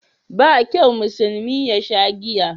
Ba kyau musulmi yasha giya